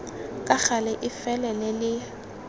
ka gale e felele le